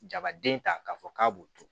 Jabaden ta k'a fɔ k'a b'o turu